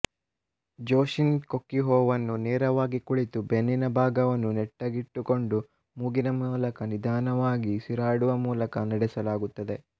ಜೋಶಿನ್ ಕೊಕ್ಯುಹೋವನ್ನು ನೇರವಾಗಿ ಕುಳಿತು ಬೆನ್ನಿನ ಭಾಗವನ್ನು ನೆಟ್ಟಗಿಟ್ಟುಕೊಂಡು ಮೂಗಿನ ಮೂಲಕ ನಿಧಾನವಾಗಿ ಉಸಿರಾಡುವ ಮೂಲಕ ನಡೆಸಲಾಗುತ್ತದೆ